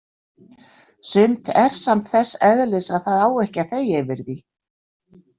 Sumt er samt þess eðlis að það á ekki að þegja yfir því.